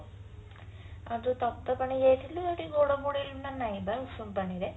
ଆଉ ଯୋଉ ତପ୍ତପାଣି ଯାଇଥିଲୁ ସେଠି ଗୋଡ ବୁଡେଇଲୁ ନା ନାଇଁ ବା ଉଷୁମ ପାଣିରେ